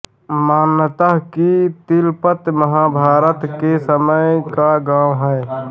मान्यता ह कि तिलपत महाभारत के समय का गांव है